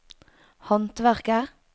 håndverker